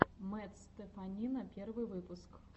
мэтт стеффанина первый выпуск